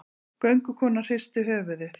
Göngukonan hristi höfuðið.